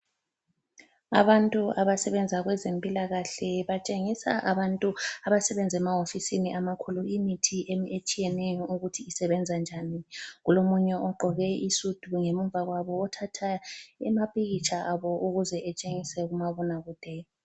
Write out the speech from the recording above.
Abantu abasebenza kwezempilakahle batshengisa abantu abasebenza emahofisini amakhulu imithi etshiyeneyo isebenza njani. Kulomunye ogqoke isudu ngemva kwabo othatha amapikitsha abo ukuze etshengise kumabonakude.